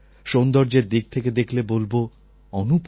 সৌন্দর্যের দিক থেকে দেখলে বলব অনুপম